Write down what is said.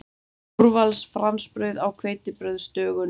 Úrvals fransbrauð á hveitibrauðsdögunum!